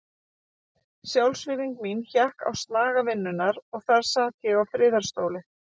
Sjálfsvirðing mín hékk á snaga vinnunnar og þar sat ég á friðarstóli.